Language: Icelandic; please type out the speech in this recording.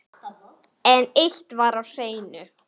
En eitt var á hreinu.